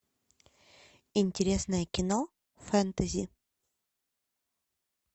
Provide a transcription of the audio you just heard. интересное кино фэнтези